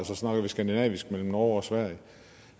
så snakker vi skandinavisk med norge og sverige